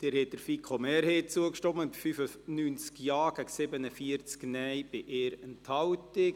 2; Antrag FiKo-Mehrheit [Saxer, Gümligen] Antrag FiKoMinderheit [Wyrsch, Jegenstorf] / Regierung)